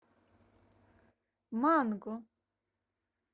манго